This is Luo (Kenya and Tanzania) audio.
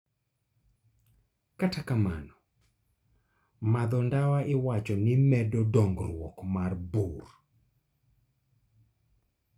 . Kata kamano, madho ndawa iwacho ni medo dongruok mar bur